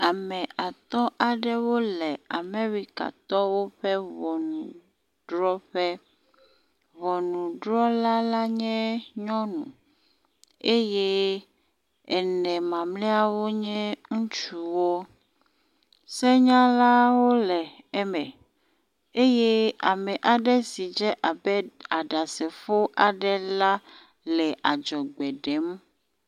Ame atɔ aɖewo le Amerikatɔwo ƒe ŋɔnudrɔƒe. Ŋɔnudrɔla la nye nyɔnu eye ene mamleawo nye ŋutsuwo. Senyalawo le eme eye ame aɖe si dze abe aɖasefo aɖe la le adzɔgbe ɖem.